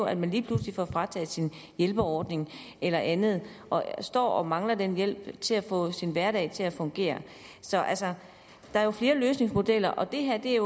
at man lige pludselig får frataget sin hjælpeordning eller andet og står og mangler den hjælp til at få sin hverdag til at fungere så altså der er jo flere løsningsmodeller og det